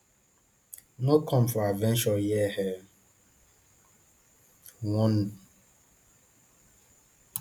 no come for adventure here e warn